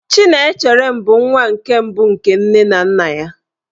Chinemerem bụ nwa nke mbụ nke nne na nna ya.